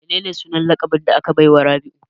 Menene sunan laƙabin da aka baiwa Rabiu?